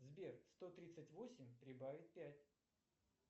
сбер сто тридцать восемь прибавить пять